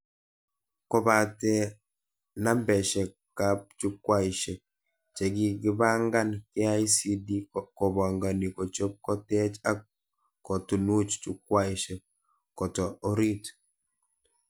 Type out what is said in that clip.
Kobatee nambeshekab Jukwaishek chekikibangan, KICD kobangani kochob, kotech ak kotunuch Jukwaishekab koto orit